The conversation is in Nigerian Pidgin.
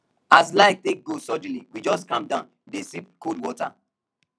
as light take go suddenly we just calm down dey sip cold water